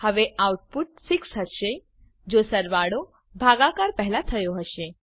હવે આઉટપુટ 6 હશે જો સરવાળો ભાગાકાર પેહલા થયો હશે